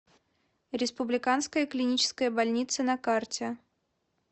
республиканская клиническая больница на карте